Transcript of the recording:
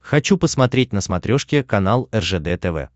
хочу посмотреть на смотрешке канал ржд тв